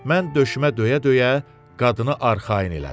Mən döşümə döyə-döyə qadını arxayın elədim.